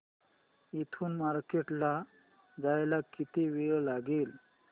इथून मार्केट ला जायला किती वेळ लागेल